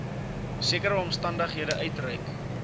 sekere omstandighede uitreik